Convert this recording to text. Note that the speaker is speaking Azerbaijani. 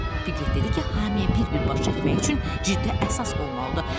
Piqlet dedi ki, hamıya bir-bir baş çəkmək üçün ciddi əsas olmalıdır.